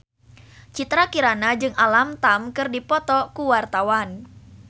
Citra Kirana jeung Alam Tam keur dipoto ku wartawan